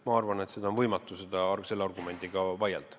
Ma arvan, et on võimatu selle argumendiga vaielda.